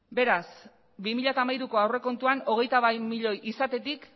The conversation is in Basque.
beraz bi mila hamairuko aurrekontuan hogeita bat milioi izatetik